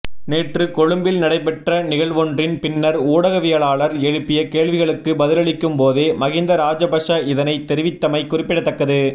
நேற்று கொழும்பில் நடைபெற்ற நிகழ்வொன்றின் பின்னர் ஊடகவியலாளர் எழுப்பிய கேள்விகளுக்கு பதிலளிக்கும் போதே மஹிந்த ராஜபக்ஷ இதனை தெரிவித்தமை குறிப்பிடத்தக்கது